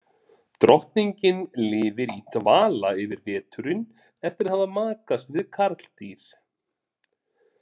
Drottningin lifir í dvala yfir veturinn eftir að hafa makast við karldýr.